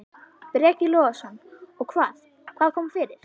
Breki Logason: Og hvað, hvað kom fyrir?